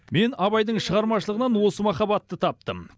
мен абайдың шығармашылығынан осы махаббатты таптым